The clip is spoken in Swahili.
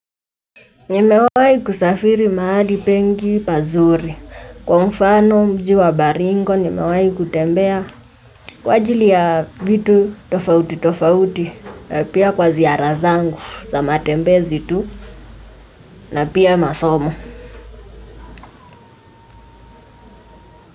Nimewai kusafiri maali pengi pazuri, kwa mfano mji wa baringo nimewai kutembea kwa jili ya vitu tofauti tofauti na pia kwa ziara zangu za matembezi tu na pia masomo.